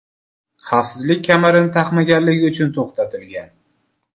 xavfsizlik kamarini taqmaganligi uchun to‘xtatilgan.